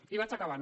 i vaig acabant